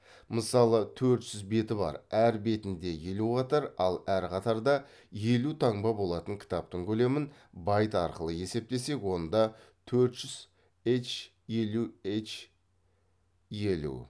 мысалы төрт жүз беті бар әр бетінде елу қатар ал әр қатарда елу таңба болатын кітаптың көлемін байт арқылы есептесек онда төрт жүз һ елу һ елу